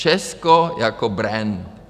Česko jako brand.